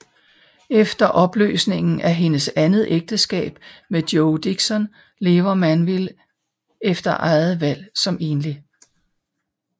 Efter opløsningen af hendes andet ægteskab med Joe Dixon lever Manville efter eget valg som enlig